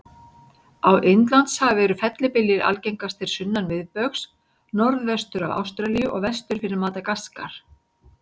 Á Indlandshafi eru fellibyljir algengastir sunnan miðbaugs, norðvestur af Ástralíu og vestur fyrir Madagaskar.